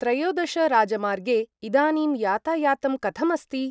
त्रयोदश राजमार्गे इदानीं यातायातं कथम् अस्ति?